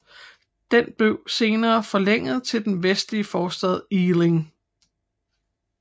Den blev senere forlænget til den vestlige forstad Ealing